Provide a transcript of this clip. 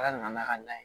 Ala nana ka na